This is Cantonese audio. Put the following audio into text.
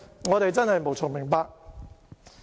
我們真的無從明白。